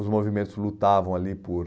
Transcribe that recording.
Os movimentos lutavam ali por...